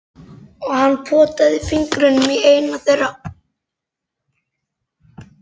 Og hann potaði fingrinum í eina þeirra.